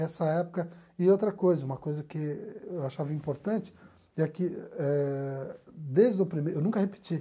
Essa época... E outra coisa, uma coisa que eu achava importante, é que eh desde o primeiro... Eu nunca repeti.